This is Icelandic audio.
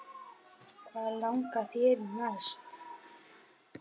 Hvað langar þig í næst?